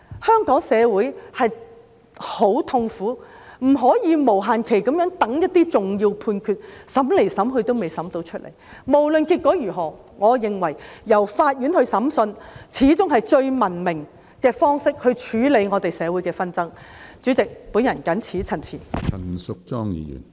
香港社會很痛苦，不能無限期地等一些重要判決，審來審去仍未有判決，無論結果如何，我認為由法院來審訊始終是處理我們社會紛爭最文明的方式。